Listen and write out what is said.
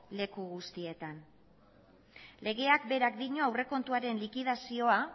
leku guztietan legeak berak dio aurrekontuaren likidazioa